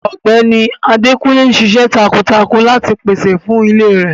Ọgbẹni Adékúnlé n sìṣẹ̀ tákuntákun láti pèsè fún ilè rẹ.